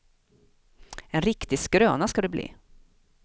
En riktig skröna ska det bli.